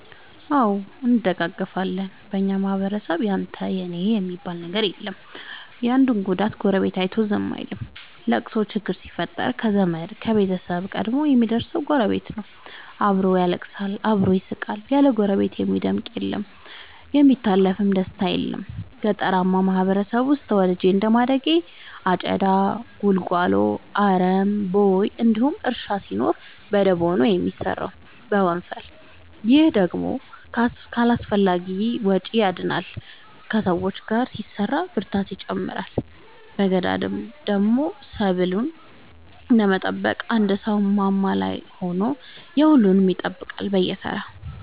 አዎ እንደጋገፋለን በኛ ማህበረሰብ ያንተ እና የኔ የለም የአንዱን ጉዳት ጎረቤቱ አይቶ ዝም አይልም። ለቅሶ ችግር ሲፈጠር ከዘመድ ከቤተሰብ ቀድሞ የሚደር ሰው ጎረቤት ነው። አብሮ ያለቅሳል አብሮ ይስቃል ያለ ጎረቤት የሚደምቅ አለም የሚታለፍ ደስታም የለም። ገጠርአማ ማህበረሰብ ውስጥ ተወልጄ እንደማደጌ አጨዳ ጉልጎሎ አረም ቦይ እንዲሁም እርሻ ሲኖር በደቦ ነው የሚሰራው በወንፈል። ይህ ደግሞ ከአላስፈላጊዎቺ ያድናል ከሰው ጋር ሲሰራ ብርታትን ይጨምራል። በገዳደሞ ሰብሉን ለመጠበቅ አንድ ሰው ማማ ላይ ሆኖ የሁሉም ይጠብቃል በየተራ።